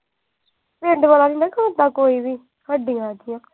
ਪਿੰਡ ਆਲਾ ਨੀ ਨਾ ਕਰਦਾ ਕੋਈ ਵੀ। ਸਾਡੀ ਹੈਗੀ ਆ।